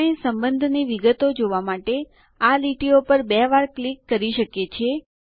આપણે સંબંધોની વિગતો જોવા માટે આ લીટીઓ પર બે વાર ક્લિક કરી શકીએ છીએ